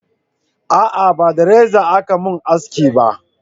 a'a ba da reza a Ka mun haski ba